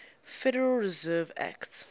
federal reserve act